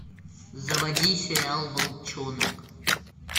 заводи сериал волчонок